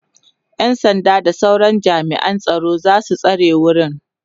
ƴan sanda da sauran jami'an tsaro zasu tsare wurin